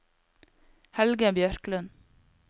Helge Bjørklund